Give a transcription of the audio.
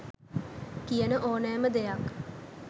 කියන ඕනෑම දෙයක්